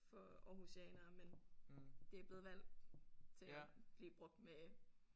For aarhusianere men det er blevet valgt til at blive brugt med